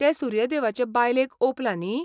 तें सुर्यदेवाचे बायलेक ओंपलां न्ही?